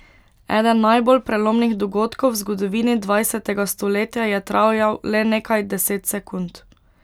Eden najbolj prelomnih dogodkov v zgodovini dvajsetega stoletja je trajal le nekaj deset sekund.